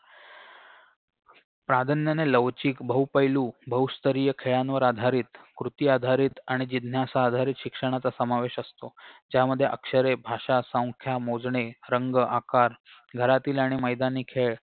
प्राधान्याने लवचिक बहुपैलू बहुस्तरीय खेळांवर आधारित कृतीआधारित आणि जिज्ञासा आधारित शिक्षणाचा समावेश असतो त्यामध्ये अक्षरे भाषा संख्या मोजणे रंग आकार घरातील आणि मैदानी खेळ